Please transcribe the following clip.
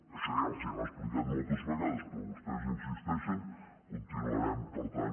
això ja els ho hem explicat moltes vegades però vostès hi insisteixen continuarem per tant